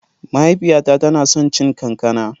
Mahaifiyata tana son cin kankana.